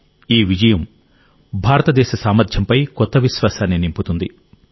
ఈ విజయం భారతదేశ సామర్థ్యంపై కొత్త విశ్వాసాన్ని నింపుతుంది